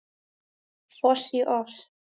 Foss í oss